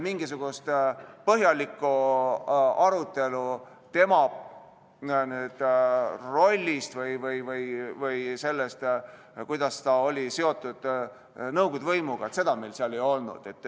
Mingisugust põhjalikku arutelu tema rolli või selle üle, kuidas ta oli seotud nõukogude võimuga, meil ei olnud.